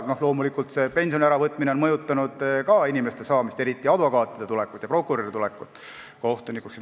Loomulikult ka pensioni äravõtmine mõjutab inimeste, eriti advokaatide ja prokuröride tulekut kohtunikuks.